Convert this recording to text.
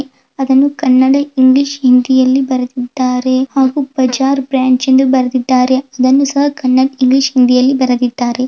ಅದನ್ನು ಕನ್ನಡ ಇಂಗ್ಲಿಷ್ ಹಿಂದಿಯಲ್ಲಿ ಬರೆದ್ದಿದಾರೆ ಹಾಗು ಬಜಾರ್ ಬ್ರಾಂಚ್ ಎಂದು ಬರೆದ್ದಿದಾರೆ ಅದನ್ನು ಸಹ ಕನ್ನಡ ಇಂಗ್ಲಿಷ್ ಹಿಂದಿಯಲ್ಲಿ ಬರೆದ್ದಿದಾರೆ.